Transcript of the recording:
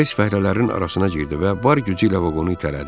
Tez fəhlələrin arasına girdi və var gücü ilə vaqonu itələdi.